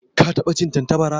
Ka taba cin Tantabara?